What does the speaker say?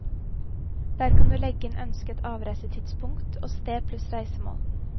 Der kan du legge inn ønsket avreisetidspunkt og sted pluss reisemål.